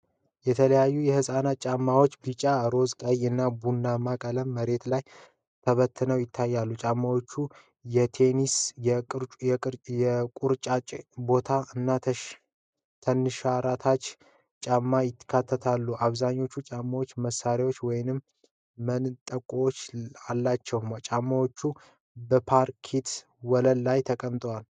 የተለያዩ የህፃናት ጫማዎች በሰማያዊ፣ ቢጫ፣ ሮዝ፣ ቀይ እና ቡናማ ቀለሞች መሬት ላይ ተበትነው ይታያሉ። ጫማዎቹ የቴኒስ፣ የቁርጭምጭሚት ቦት እና ተንሸራታች (flats) ጫማዎችን ያካትታሉ። አብዛኛዎቹ ጫማዎች ማሰሪያዎች ወይም መንጠቆዎች አላቸው። ጫማዎቹ በፓርኬት ወለል ላይ ተቀምጠዋል።